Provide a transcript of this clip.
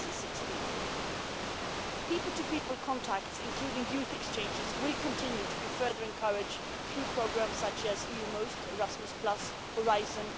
2016. People to people contacts, including youth exchanges, will continue to be further encouraged through programmes such as EU Most, Erasmus, Horizon